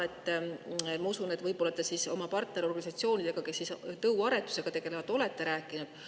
Ma usun, et võib-olla te oma partnerorganisatsioonidega, kes tõuaretusega tegelevad, olete rääkinud.